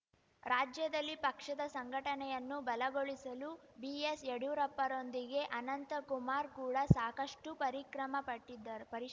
ರಾಜ್ಯದಲ್ಲಿ ಪಕ್ಷದ ಸಂಘಟನೆಯನ್ನು ಬಲಗೊಳಿಸಲು ಬಿಎಸ್‌ ಯಡ್ಯೂರಪ್ಪರೊಂದಿಗೆ ಅನಂತಕುಮಾರ್‌ ಕೂಡ ಸಾಕಷ್ಟುಪರಿಕ್ರಮ ಪಟ್ಟಿದ್ದರು ಪರಿಷ್